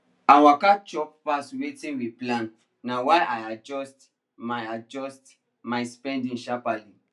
her waka chop pass wetin we plan na why i adjust my adjust my spending sharperly